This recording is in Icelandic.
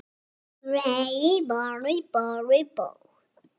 Einn niður í hvelli.